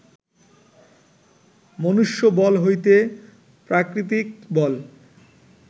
মনুষ্যবল হইতে প্রাকৃতিক বল